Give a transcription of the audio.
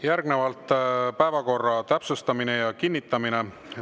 Järgnevalt päevakorra täpsustamine ja kinnitamine.